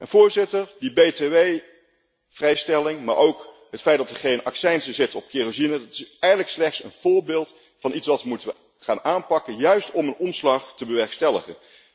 En, Voorzitter, die btw vrijstelling, maar ook het feit dat er geen accijnzen zitten op kerosine, dat is eigenlijk slechts een voorbeeld van iets dat we moeten gaan aanpakken, juist om een omslag te bewerkstelligen.